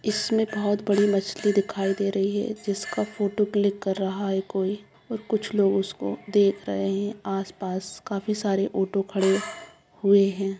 इसमें बहोत बड़ी मछली दिखाई दे रही है जिसका फोटो क्लिक कर रहा है कोई और कुछ लोग उसको देख रहे हैं। आस पास काफी सारे ओटो खड़े हुए हैं।